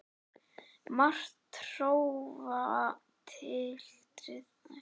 Margt hrófatildrið hefur þér verið reist af drýldninni einni saman.